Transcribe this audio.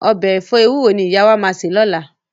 Ọbẹ̀ ẹ̀fọ́ ewúro ni ìyá wa máa sè lọ́la